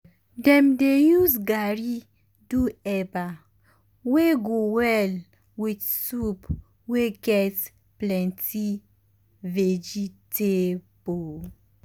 dem dey use garri do eba wey go well with soup wey get plenty vegetable.